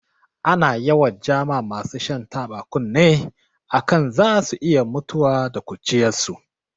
Ana yawan ja ma masu shan taba kunne a kan zasu iya mutuwa da ƙuruciyarsu.